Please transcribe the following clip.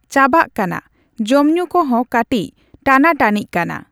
ᱪᱟᱵᱟᱜ ᱠᱟᱱᱟ᱾ ᱡᱚᱢᱼᱧᱩ ᱠᱚᱦᱚᱸ ᱠᱟᱴᱤᱪ ᱴᱟᱱᱟᱼᱴᱟᱱᱤᱜ ᱠᱟᱱᱟ᱾